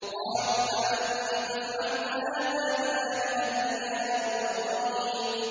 قَالُوا أَأَنتَ فَعَلْتَ هَٰذَا بِآلِهَتِنَا يَا إِبْرَاهِيمُ